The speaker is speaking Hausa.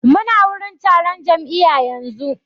Mu na wurin taron jam'iya yanzu